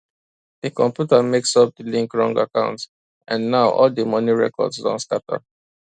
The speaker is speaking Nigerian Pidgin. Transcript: di computer mess up de link wrong account and now all di money records don scatter